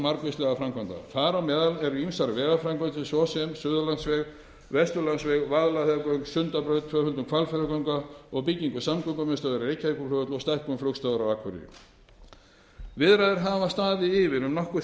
margvíslegra framkvæmda þar á meðal eru ýmsar vegaframkvæmdir svo sem við suðurlandsveg vesturlandsveg vaðlaheiðargöng sundabraut tvöföldun hvalfjarðarganga og bygging samgöngumiðstöðvar við reykjavíkurflugvöll og stækkun flugstöðvar á akureyri viðræður hafa staðið yfir um nokkurt